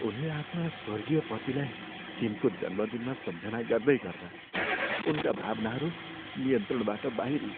उनले आफ्ना स्वर्गीय पतिलाई तिनको जन्मदिनमा सम्झना गर्दै गर्दा उनका भावनाहरू नियन्त्रणबाट बाहिरिए।